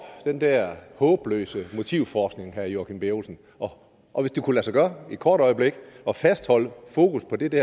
den der håbløse motivforskning herre joachim b olsen og hvis det kunne lade sig gøre et kort øjeblik at fastholde fokus på det det